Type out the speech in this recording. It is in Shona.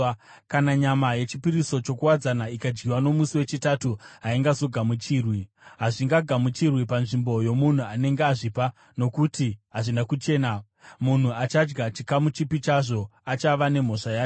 Kana nyama yechipiriso chokuwadzana ikadyiwa nomusi wechitatu haizogamuchirwi. Hazvigamuchirwi panzvimbo yomunhu anenge azvipa nokuti hazvina kuchena, munhu achadya chikamu chipi chazvo achava nemhosva yacho.